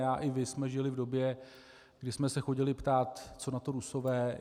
Já i vy jsme žili v době, kdy jsme se chodili ptát, co na to Rusové.